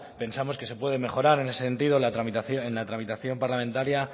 pensamos que se puede mejorar en ese sentido en la tramitación parlamentaria